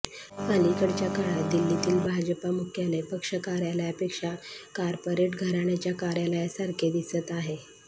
अलीकडच्या काळात दिल्लीतील भाजपा मुख्यालय पक्ष कार्यालयापेक्षा कार्पोरेट घराण्याच्या कार्यालयासारखे दिसत आहे